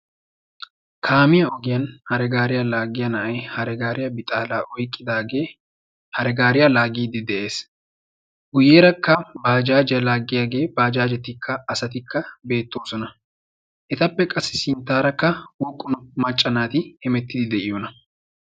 kaamiyaa ogiyaan hare gariyaa laaggiya na'ay hare gariyaa bixxala oyqqidaage hare gaariyaa laagide de'ees. guyyerakka bajjajiya laaggiyage bajajetikka asatikka beettoosona. etappe qassi sinttara woqqu macca naati hemettide de'iyoona?